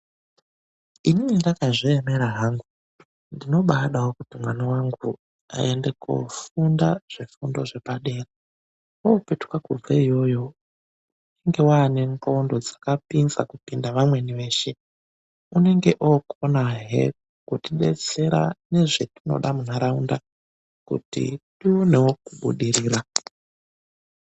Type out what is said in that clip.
Inini ndakazviemera hangu, ndinobaadawo kuti mwana wangu aende kofunda zvifundo zvepadera opetuka kubve iyoyo, unenge aane nqondo dzakapinza kupinda vamweni veshe, unenge okonahe kutidetsera nezvetinoda munharaunda kuti tionewo kubudirira.